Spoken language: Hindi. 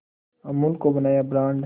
अमूल को बनाया ब्रांड